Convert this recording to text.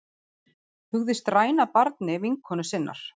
Hugðist ræna barni vinkonu sinnar